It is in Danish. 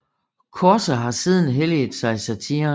Korse har siden helliget sig satiren